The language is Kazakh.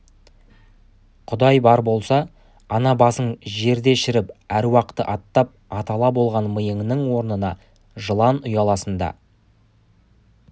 құдай бар болса ана басың жерде шіріп аруақты аттап атала болған миыңның орнына жылан ұя салсын да